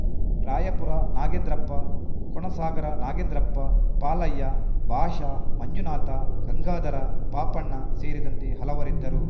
ರಾಯಾಪುರ ನಾಗೇಂದ್ರಪ್ಪ ಕೋನಸಾಗರ ನಾಗೇಂದ್ರಪ್ಪ ಪಾಲಯ್ಯ ಭಾಷ ಮಂಜುನಾಥ ಗಂಗಾಧರ ಪಾಪಣ್ಣ ಸೇರಿದಂತೆ ಹಲವರಿದ್ದರು